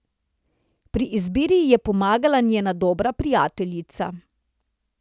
Pri izbiri ji je pomagala njena dobra prijateljica.